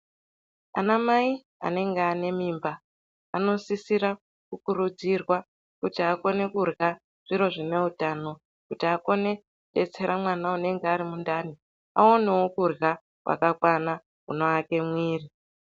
Anamai anega nèmimba anosisira kukurudzirwa kuti akone kurwa zviro zvineutano kuti akone kudetsera mwana unonge arimundani aonewo kurwa kwakakwana kunoake muiri.